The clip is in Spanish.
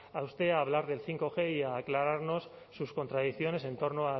a usted hablar del bostg y a aclararnos sus contradicciones en torno